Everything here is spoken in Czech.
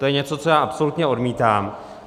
To je něco, co já absolutně odmítám.